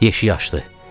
Yeşiyi aşdı.